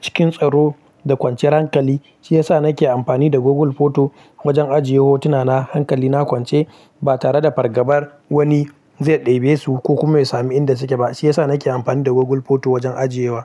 cikin tsaro da kwanciyar hankali. Shi yasa nake amfani da Google Photo wajen ajiye hotuna na hankali. Na kwance ba tare da fargabar wani zai ɗebe su ko kuma ya samu inda suke ba. Shi yasa nake amfani da Google Photo wajen ajiyewa.